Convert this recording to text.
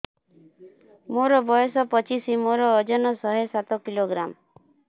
ମୋର ବୟସ ପଚିଶି ମୋର ଓଜନ ଶହେ ସାତ କିଲୋଗ୍ରାମ